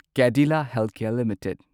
Cadila healthcare limited